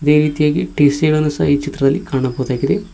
ಈ ರೀತಿಯಾಗಿ ಟಿ_ಸಿ ಗಳನ್ನು ಸಹ ಈ ಚಿತ್ರದಲ್ಲಿ ಕಾಣಬಹುದಾಗಿದೆ.